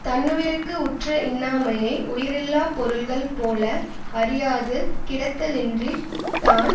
தன்னுயிர்க்கு உற்ற இன்னாமையை உயிரில்லாப் பொருள்கள் போல அறியாது கிடத்தளின்றித் தான்